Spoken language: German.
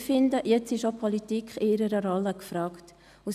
Ich finde, dass jetzt auch die Politik in ihrer Rolle gefragt ist.